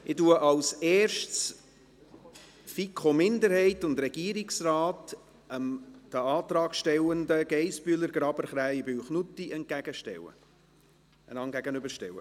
Ich werde als Erstes den Antrag der FiKo-Minderheit und des Regierungsrates dem Antrag der Antragstellenden Geissbühler, Graber, Krähenbühl und Knutti gegenüberstellen.